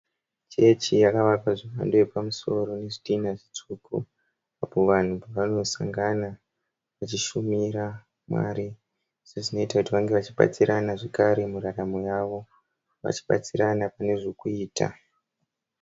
Chechi yakavakwa nemhando iripamusiri nezvitinha zvitsvuku. Apo vanhu pavanosangana vachishumira Mwari. Sezvinoita kuti vanhu vange vachibatsirana muraramo yavo, vachibatsirana munezvekuita.